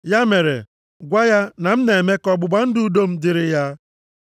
Ya mere, gwa ya, na m na-eme ka ọgbụgba ndụ udo m dịrị ya.